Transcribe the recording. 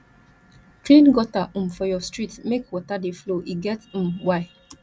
clean gutter um for your street make water dey flow e get um why